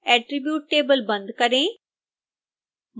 attribute table बंद करें